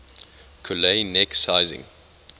collet neck sizing